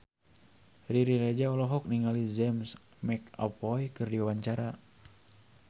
Riri Reza olohok ningali James McAvoy keur diwawancara